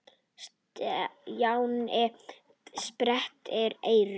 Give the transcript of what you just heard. Stjáni sperrti eyrun.